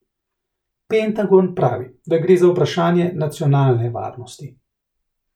Pentagon pravi, da gre za vprašanje nacionalne varnosti.